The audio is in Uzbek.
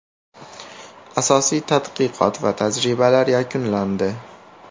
Asosiy tadqiqot va tajribalar yakunlandi.